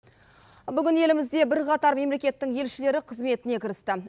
бүгін елімізде бірқатар мемлекеттің елшілері қызметіне кірісті